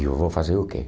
E eu vou fazer o quê?